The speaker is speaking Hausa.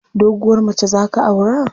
Doguwar mace za ka aura?